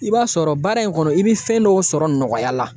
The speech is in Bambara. I b'a sɔrɔ baara in kɔnɔ i be fɛn dɔw sɔrɔ nɔgɔya la